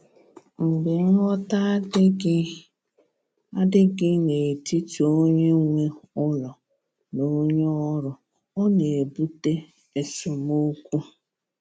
Mgbe nghọta adịghị adịghị n’etiti onye nwe ụlọ na onye ọrụ, ọ na-ebute esemokwu.